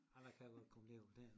Jamen a kan godt komme ned å a knæ endnu